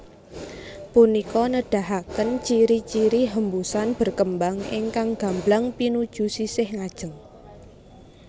Punika nedahaken ciri ciri hembusan berkembang ingkang gamblang pinuju sisih ngajeng